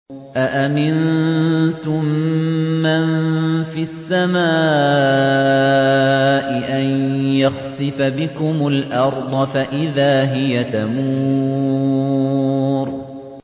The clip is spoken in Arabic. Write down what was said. أَأَمِنتُم مَّن فِي السَّمَاءِ أَن يَخْسِفَ بِكُمُ الْأَرْضَ فَإِذَا هِيَ تَمُورُ